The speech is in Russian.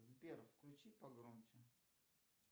сбер включи погромче